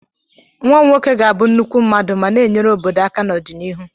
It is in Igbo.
Nwa m nwoke ga-abụ nnukwu mmadụ ma na-enyere obodo aka n'ọdịnihu